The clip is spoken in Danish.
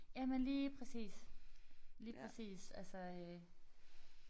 Jamen lige præcis. Lige præcis altså øh